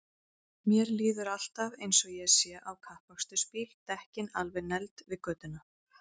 Mér líður alltaf eins og ég sé á kappakstursbíl, dekkin alveg negld við götuna.!